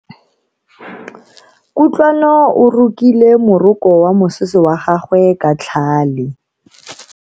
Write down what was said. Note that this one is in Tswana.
Kutlwano o rokile moroko wa mosese wa gagwe ka tlhale.